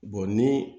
ni